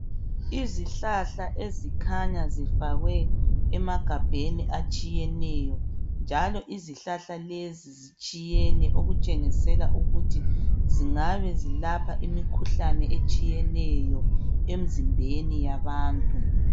Izihlahla ezikhanya zifakwe emagabheni atshiyeneyo njalo izihlahla lezi zitshiyene okutshengisela ukuthi zingabe zilapha imikhuhlane etshiyeneyo emzimbeni yabantu.